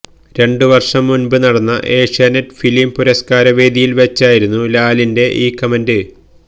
രണ്ടു വര്ഷം മുന്പ് നടന്ന ഏഷ്യാനെറ്റ് ഫിലിം പുരസ്കാര വേദിയില് വച്ചായിരുന്നു ലാലിന്റെ ഈ കമന്റ്